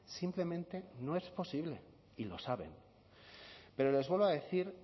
simplemente no es posible y lo saben pero les vuelvo a decir